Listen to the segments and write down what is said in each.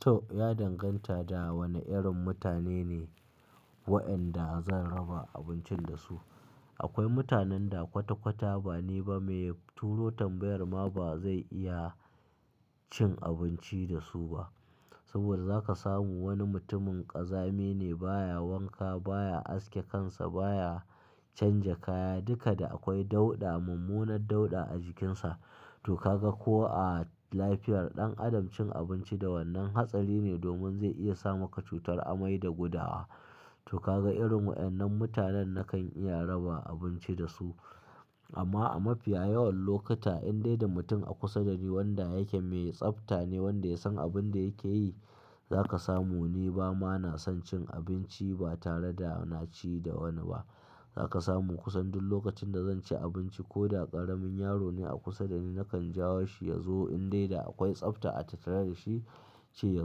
To, ya danganta da wane irin mutane ne waɗanda zan raba abincin da su. Akwai mutanen da kwata-kwata bani ba mai turo tambayar ma ba zai iya cin abinci da su ba. Saboda za ka samu wani mutumin ƙazami ne, baya wanka, baya aske kansa, baya canja kaya, duka da akwai dauɗa, mummunar dauɗa a jikinsa. To ka ga ko a lafiyar ɗan adam cin abinci da wannan hatsari ne domin zai iya sa maka cutar amai da gudawa. To ka ga irin waɗannan mutanen nakan iya raba abinci da su. Amma a mafiya yawan lokuta, in dai da mutum a kusa da ni wanda yake mai tsafta ne, wanda ya san abin da yake yi, za ka samu ni ba ma na son cin abinci ba tare da na ci da wani ba. Za ka samu kusan duk lokacin da zan ci abinci ko da ƙaramin yaro ne a kusa da ni, nakan jawo shi ya zo in dai da akwai tsafta a tattare da shi, ce ya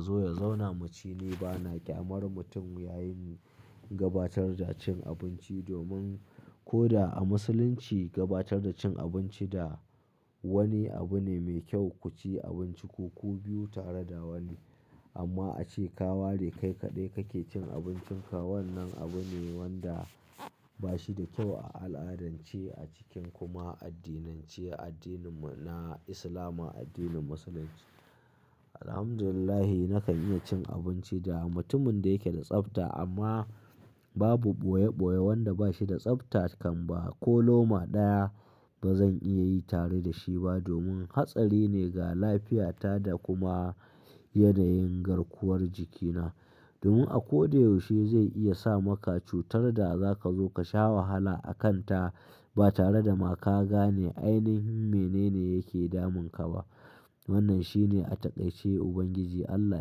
zo ya zauna. Muci ni ba na ƙyamar mutum ya yi gabatar da cin abinci domin ko da a Musulunci gabatar da cin abinci da wani abu ne mai kyau ku ci abinci ko ku biyu tare da wani. Amma a ce ka ware kai kaɗai kake cin abincinka, wannan abu ne wanda ba shi da kyau a al'adance a cikin kuma addinance, addinin mu na Islama, addinin Musulunci. Alhamdulillah, nakan iya cin abinci da mutumin da yake da tsafta amma babu boye-boye wanda ba shi da tsafta kan ba ko loma ɗaya ba zan iya yi tare da shi ba domin hatsari ne ga lafiyata da kuma yanayin garkuwar jikina. Domin a ko da yaushe zai iya sa maka cutar da za ka zo ka sha wahala a kanta ba tare da ma ka gane ainihi menene yake damun ka ba. Wannan shine a taƙaice Ubangiji Allah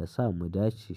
yasa mu dace.